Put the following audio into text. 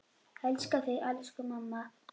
Elska þig, elsku mamma!